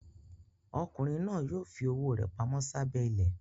Ọkùnrin náà yóò fi owó rẹ̀ pamọ́ sábẹ́ ilẹ̀.